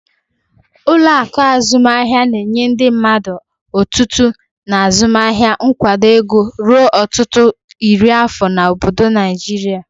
Ụlọ akụ azụmaahịa na-enye ndị mmadụ otutu na azụmaahịa nkwado ego ruo ọtụtụ iri afọ na obodo Naijiria.